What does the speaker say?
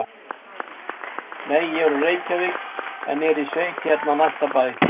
Nei, ég er úr Reykjavík en er í sveit hérna á næsta bæ.